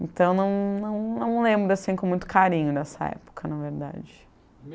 Então, não não não lembro assim com muito carinho dessa época, na verdade.